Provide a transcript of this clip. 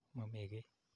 Mami kii.